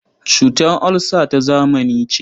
Cutar olsa ta zamani ce.